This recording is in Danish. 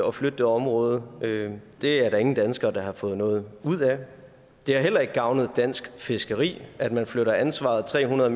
at flytte det område det er der ingen danskere der har fået noget ud af det har heller ikke gavnet dansk fiskeri at man flytter ansvaret tre hundrede